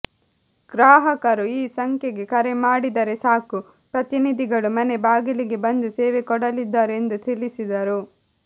ಗ್ರಾಹಕರು ಈ ಸಂಖ್ಯೆಗೆ ಕರೆ ಮಾಡಿದರೆ ಸಾಕು ಪ್ರತಿನಿಧಿಗಳು ಮನೆ ಬಾಗಿಲಿಗೆ ಬಂದು ಸೇವೆ ಕೊಡಲಿದ್ದಾರೆ ಎಂದು ತಿಳಿಸಿದರು